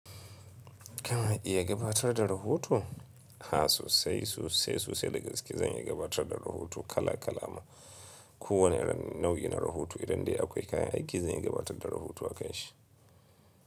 Kana iya gabatar da rahoto? Ha sosai, soai, sosai. Dagaske zan iya gabatar da rahoto kala kala ma. Ko wane irin nau'in na rahoto idan dai akwai kayan aiki, zan iya gabatar da rahoto akanshi.